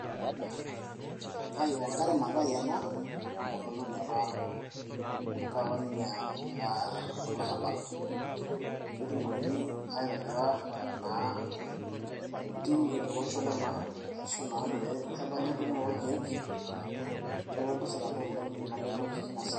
wangari mathai ena naa entomononi apa nagira ninye aar olarabal pee etumokini aitobira intimi tolosho le maa nepali edung'oto oo irkeek neeku entasat apa ena yioloti oleng tinasiai.